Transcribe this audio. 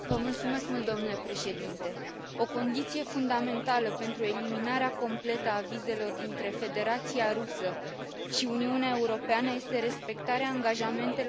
O condiție fundamentală pentru eliminarea completă a vizelor dintre Federația Rusă și Uniunea Europeană este respectarea angajamentelor asumate prin acordul din